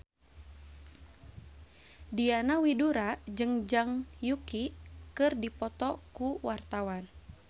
Diana Widoera jeung Zhang Yuqi keur dipoto ku wartawan